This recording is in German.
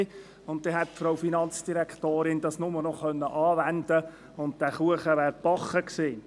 Die Finanzdirektorin hätte es dann lediglich noch anwenden müssen, und der Kuchen wäre gebacken gewesen.